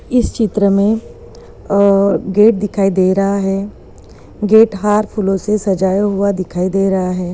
इस चित्र गेट दिखाई दे रहा है गेट हार फूलों से सजाया हुआ दिखाई दे रहा है ।